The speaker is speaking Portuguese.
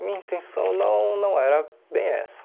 minha intenção não não era bem essa.